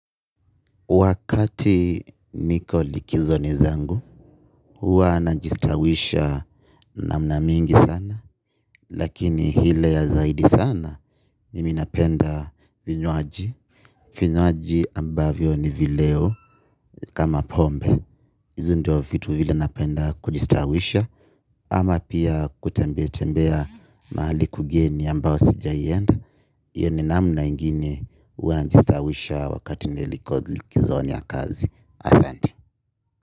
Wakati niko likizoni zangu huwa najistawisha namna mingi sana. Lakini ile ya zaidi sana mimi napenda vinywaji. Vinywaji ambavyo ni vileo kama pombe. Ndo vitu vile napenda kujistawisha ama pia kutembea tembea mahali kugeni ambao sijawahi enda. Hiyo ni namna ingine huwa najistawisha wakati niko likizoni ya kazi ahsante.